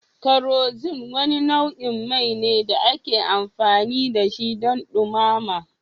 Kerosene wani nau'in mai ne da ake amfani da shi don dumama.